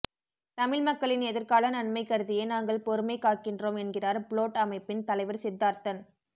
தமிழ் மக்களின் எதிர்கால நன்மை கருதியே நாங்கள் பொறுமை காக்கின்றோம் என்கிறார் புளொட்அமைப்பின் தலைவர் சித்தார்த்தன்